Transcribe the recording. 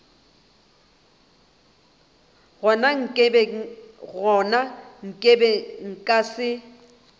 gona ke be nka se